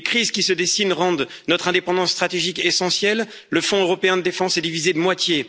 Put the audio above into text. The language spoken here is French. les crises qui se dessinent rendent notre indépendance stratégique essentielle, et le Fonds européen de défense est divisé de moitié